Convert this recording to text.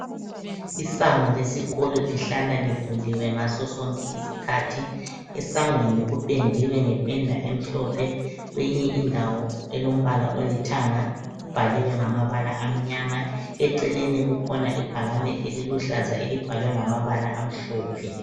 Isango lesikolo lihlala livuliwe ngasosonke isikhathi, esangweni kupendiwe ngependa emhlophe, kweyinye indawo elombala olithanga kubhaliwe ngamabala amnyama eceleni kukhona ibhakane eliluhlaza elibhalwe ngamabala amhlophe.